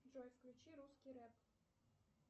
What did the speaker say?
джой включи русский рэп